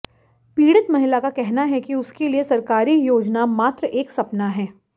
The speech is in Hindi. पीडि़त महिला का कहना है कि उसके लिए सरकारी योजना मात्र एक सपना है